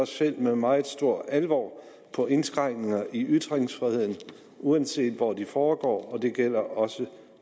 ser med meget stor alvor på indskrænkninger i ytringsfriheden uanset hvor de foregår og det gælder også